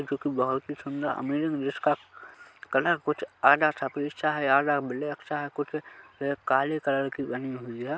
जो की बहुत सुंदर अमेजिंग जिसका कलर कुछ आधा सफेद सा है आधा ब्लैक सा कुछ ए काले कलर की बनी हुई हैं।